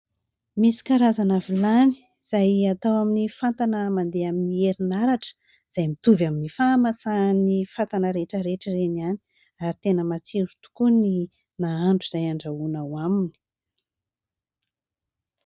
Misy karazana vilany, izay atao amin'ny fatana mandeha amin'ny herin'aratra, izay mitovy amin'ny fahamasahan'ny fatana rehetrarehetra ireny ihany ary tena matsiro tokoa ny nahandro, izay andrahoana ao aminy.